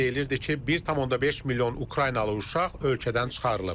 Əvvəlcə deyilirdi ki, 1,5 milyon Ukraynalı uşaq ölkədən çıxarılıb.